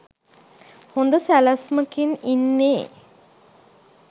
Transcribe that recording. හොඳ සැලැස්මකින් ඉන්නේ